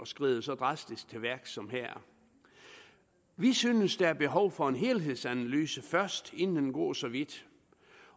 skride så drastisk til værks som her vi synes der er behov for en helhedsanalyse først inden man går så vidt